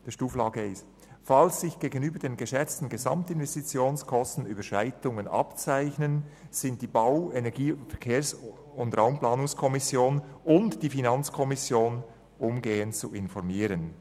«Falls sich gegenüber den geschätzten Gesamtinvestitionskosten Überschreitungen abzeichnen, sind die Bau-, Energie-, Verkehrs- und Raumplanungskommission und die Finanzkommission umgehend zu informieren.